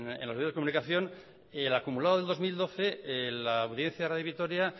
en los medios de comunicación el acumulado del dos mil doce la audiencia de radio vitoria